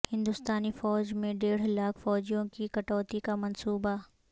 ہندوستانی فوج میں ڈیڑھ لاکھ فوجیوں کی کٹوتی کا منصوبہ